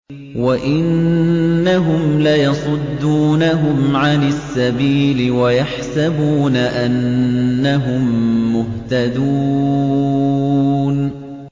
وَإِنَّهُمْ لَيَصُدُّونَهُمْ عَنِ السَّبِيلِ وَيَحْسَبُونَ أَنَّهُم مُّهْتَدُونَ